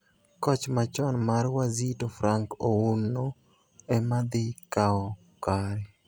Koch machon mar Wazito Frank Ouno ema dhi kao kare.